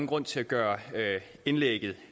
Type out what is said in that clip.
grund til at gøre indlægget